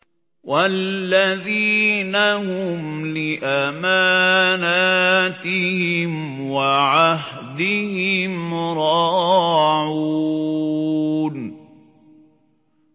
وَالَّذِينَ هُمْ لِأَمَانَاتِهِمْ وَعَهْدِهِمْ رَاعُونَ